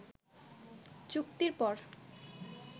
চুক্তির পর